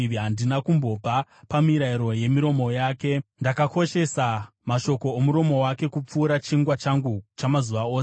Handina kumbobva pamirayiro yemiromo yake; ndakakoshesa mashoko omuromo wake kupfuura chingwa changu chamazuva ose.